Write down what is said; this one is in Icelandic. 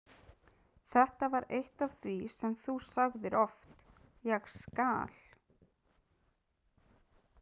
Þetta var eitt af því sem þú sagðir oft: Ég skal.